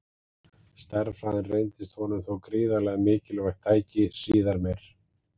Stærðfræðin reyndist honum þó gríðarlega mikilvægt tæki síðar meir.